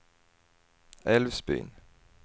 Älvsbyn